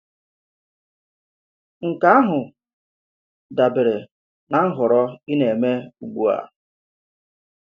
Nke ahụ dabèrè na nhọrọ ị na-èmè ugbu a.